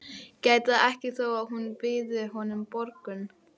Gæti það ekki þó að hún byði honum borgun.